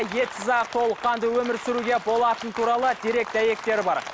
етсіз ақ толыққанды өмір сүруге болатыны туралы дерек дәйектер бар